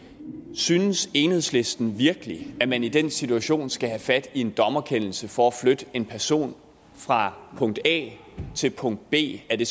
synes enhedslisten virkelig at man i den situation skal have fat i en dommerkendelse for at flytte en person fra punkt a til punkt b er det